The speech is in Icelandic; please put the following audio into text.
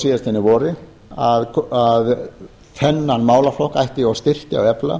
síðastliðnu vori að þennan málaflokk ætti að styrkja og efla